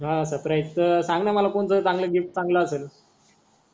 हा सर्प्राइस त सांग न मला कोणता तरी चांगला गिफ्ट चांगला असेल.